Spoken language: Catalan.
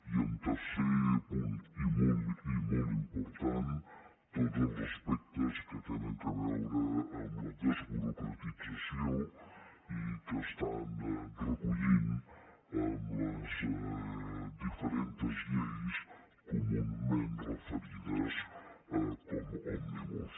i tercer punt i molt important tots els aspectes que tenen a veure amb la desburocratització i que estan recollint les diferents lleis comunament referides com a òmnibus